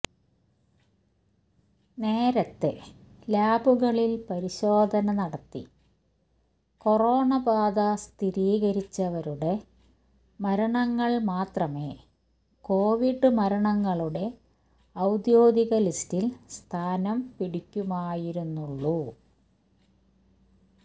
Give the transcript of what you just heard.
നേരത്തെ ലാബുകളിൽ പരിശോധന നടത്തി കൊറോണ ബാധ സ്ഥിരീകരിച്ചവരുടെ മരണങ്ങൾ മാത്രമേ കോവിഡ് മരണങ്ങളുടെ ഔദ്യോഗിക ലിസ്റ്റിൽ സ്ഥാനം പിടിക്കുമായിരുന്നുള്ളു